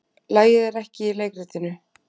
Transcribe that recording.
Lagið er ekki í leikritinu.